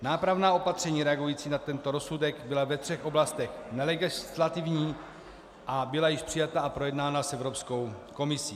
Nápravná opatření reagující na tento rozsudek byla ve třech oblastech nelegislativní a byla již přijata a projednána s Evropskou komisí.